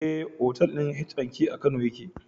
Eh, otal ɗin H&K a kano yake